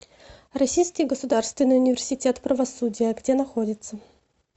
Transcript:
российский государственный университет правосудия где находится